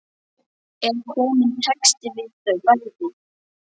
Er kominn texti við þau bæði?